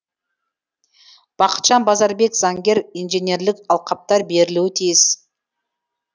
бақытжан базарбек заңгер инженерлік алқаптар берілуі тиіс